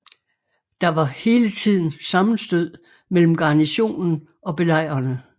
Der var hele tiden sammenstød mellem garnisonen og belejrerne